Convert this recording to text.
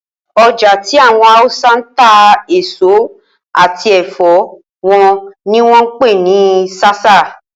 Oja ti awon Hausa n ta eso ati ẹfọ won ni won n pe ni Sasa